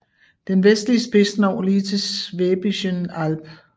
Den vestlige spids når lige til Schwäbischen Alb